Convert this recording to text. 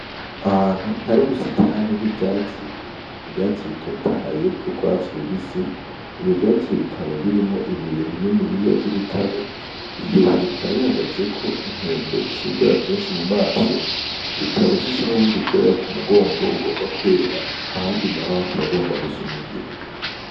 Ahantu har'ivyatsi: ivyatsi bitotahaye vy'urwatsi rubisi ivyo vyatsi bikaba birimwo ibuye rinini ry'urutare, iryo buye hakaba har'inkende irihagazeko ifis'ubwoya bwinshi mu manso ,ikaba ifise n'ubundi bwoya kumugongo bugomba kwera ahandi naho hakaba hagomb gusa n'umugina.